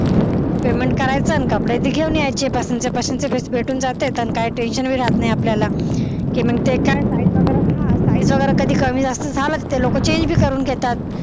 payment करायचा आणि कपडे घेऊन यायचे पसंतीचे पसंतीचे भेटून बी जातात काय tension पण राहत नाही आपल्याला कि मग काय size वगैरे हा size वगैरा काय कमी जास्त झाला तिथे तर काय लोक change भी करून घेतात